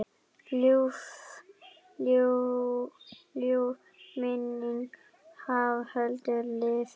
Ljúf minning Haföldu lifir.